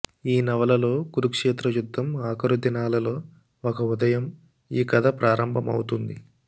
ఈ నవలలో కురుక్షేత్ర యుద్ధం ఆఖరు దినాలలో ఒక ఉదయం ఈ కథ ప్రారంభమౌతుంది